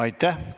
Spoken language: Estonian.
Aitäh!